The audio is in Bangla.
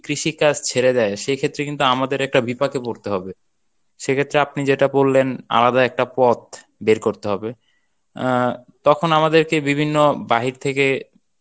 কৃষিকাজ ছেড়ে দেয়, সেক্ষেত্রে কিন্তু আমাদের একটা বিপাকে পরতে হবে. সেক্ষেত্রে আপনি যেটা বললেন আলাদা একটা পথ বের করতে হবে আহ তখন আমাদেরকে বিভিন্ন বাহির থেকে